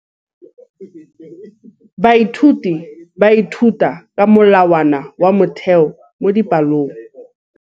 Baithuti ba ithuta ka molawana wa motheo mo dipalong.